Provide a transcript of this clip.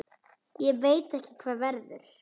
Ég veit ekki hvað verður.